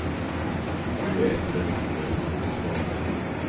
Nu äter den upp mig inifrån.